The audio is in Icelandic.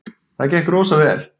Það gekk rosa vel.